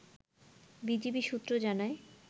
BGB সূত্র জানায়